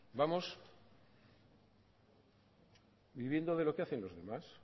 vamos viviendo de lo que hacen los demás